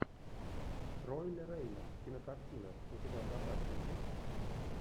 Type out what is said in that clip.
ролле рейна кинокартина у тебя в запасе есть